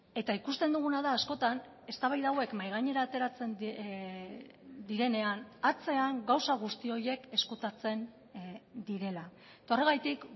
eta ikusten duguna da askotan eztabaida hauek mahai gainera ateratzen direnean atzean gauza guzti horiek ezkutatzen direla eta horregatik